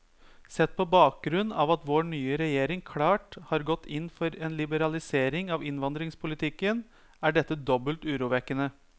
Sett på bakgrunn av at vår nye regjering klart har gått inn for en liberalisering av innvandringspolitikken, er dette dobbelt urovekkende.